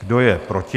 Kdo je proti?